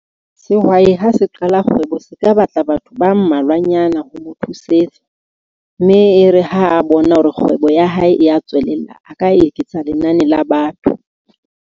Sehwai ha se qala kgwebo, se ka batla batho ba mmalwanyana ho mo thusetsa. Mme e re ha a bona hore kgwebo ya hae e ya tswelella, a ka eketsa lenane la batho.